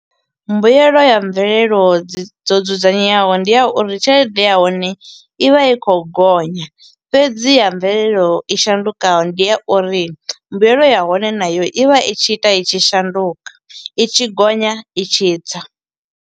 Mbuyelo ya mvelelo dzo dzudzanyeaho ndi ya uri tshelede ya hone, i vha i khou gonya. Fhedzi ya mvelelo i shandukaho ndi ya uri, mbuyelo ya hone na yo i vha i tshi ita i tshi shanduka, i tshi gonya i tshi tsa.